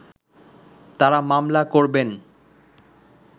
তারা মামলা করবেন